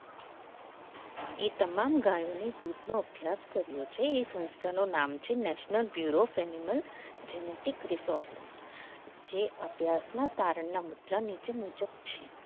એ તમામ ગાયોને દૂધનો અભ્યાસ કર્યો છે એ સંસ્થાનું નામ છે national bureaus animal genetic resource જે અભ્યાસમાં મુજબ છે